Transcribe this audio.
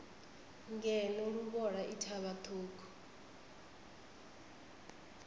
ngeno luvhola i thavha ṱhukhu